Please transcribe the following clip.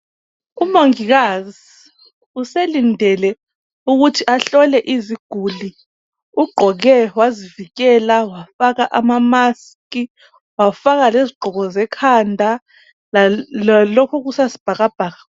Umongikazi uselindele ukuthi ahlole iziguli. Ugqoke wazivikela wafaka amamask wafaka lezigqoko zekhanda lalokhu okusasibhakabhaka.